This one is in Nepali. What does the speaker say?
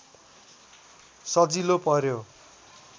सजिलो पर्‍यो